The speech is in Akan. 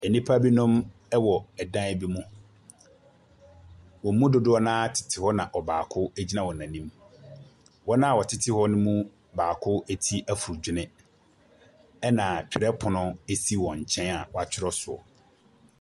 Nnipa binom wɔ dan bi mu. Wɔn mu dodoɔ no ara tete hɔ na baako gyina wɔn anim. Wɔn a wɔtete hɔ ne mu baako tiri efu dwene. Na twerɛpono si wɔn nkyɛn a wɔatwerɛ so.